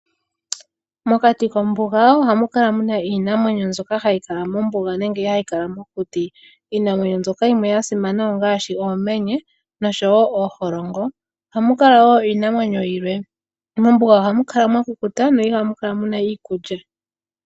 Mokati kombuga ohamu kala muna iinamwenyo mbyoka hayi kala mombuga nenge hayi kala mokuti. Iinamwenyo mbyoka yimwe yasimana ongaashi oomenye noshowo ooholongo. Ohamu kala wo iinamwenyo yilwe . Mombuga ohamu kala mwa kukuta no ihamu kala muna iikulya.